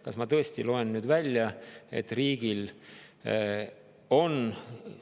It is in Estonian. Kas ma tõesti loen nüüd välja, et riigi